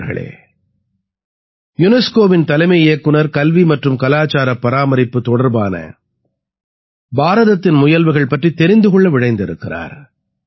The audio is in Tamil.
நண்பர்களே யுனெஸ்கோவின் தலைமை இயக்குநர் கல்வி மற்றும் கலாச்சாரப் பராமரிப்பு தொடர்பான பாரதத்தின் முயல்வுகள் பற்றித் தெரிந்து கொள்ள விழைந்திருக்கிறார்